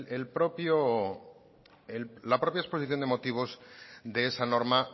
la propia exposición de motivos de esa norma